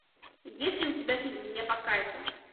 есть ли у тебя фильм мне по кайфу